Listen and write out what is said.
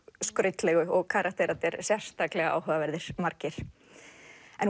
skrautlegu og karakterarnir sérstaklega áhugaverðir margir en